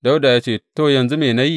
Dawuda ya ce, To, yanzu me na yi?